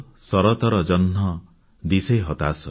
ଶରତର ଜହ୍ନ ଦିଶେ ହତାଶ